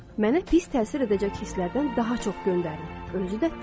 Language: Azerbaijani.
Mənə pis təsir edəcək hisslərdən daha çox göndərin, özü də tez.